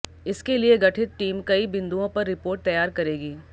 इसके लिए गठित टीम कई बिंदुओं पर रिपोर्ट तैयार करेगी